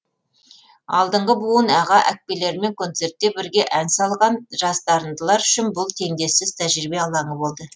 алдыңғы буын аға әпкелерімен концертте бірге ән салған жас дарындылар үшін бұл теңдессіз тәжірибе алаңы болды